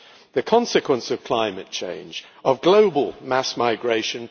the consequence of climate change, of global mass migration